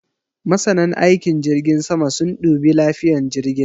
Masanan aikin jirgin sama sun dubi lafiyan jirgin